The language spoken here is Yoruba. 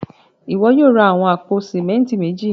Ìwọ yóò ra awọn apò símẹ̀ntì méjì.